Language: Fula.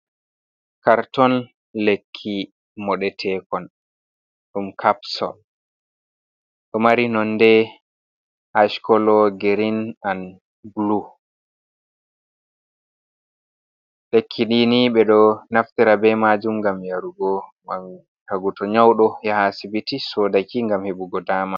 Karton lekki moɗetekon. ɗum kapsul ɗo mari nonde ash kolo, girin, an bulu lekki dini ɓeɗo naftira be majum ngam yarugo tagu to nyauɗo yaha sibiti sodaki ngam heɓugo dama.